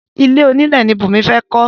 Ilé onílẹ̀ ni Bùnmi fẹ́ kọ́